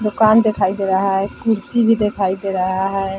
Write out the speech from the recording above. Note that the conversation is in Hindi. दुकान दिखाई दे रहा है कुर्सी भी दिखाई दे रहा है ।